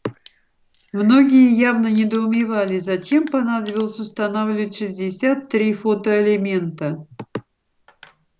многие явно недоумевали зачем понадобилось устанавливать шестьдесят три фотоэлемента